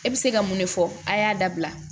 E bɛ se ka mun de fɔ a' y'a dabila